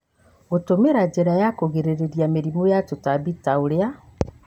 Gũtũmĩra njĩra cia kũgirĩrĩria mĩrimũ na tũtambi ta ũrĩa